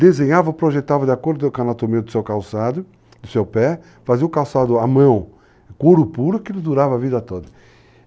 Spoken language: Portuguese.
desenhava, projetava de acordo com a anatomia do seu calçado, do seu pé, fazia o calçado à mão, couro puro, aquilo durava a vida toda.